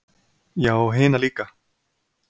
Já og hina líka.